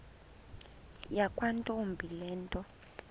yakwantombi le nto